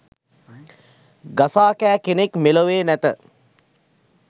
ගසා කෑ කෙනෙක් මේලොව නෑත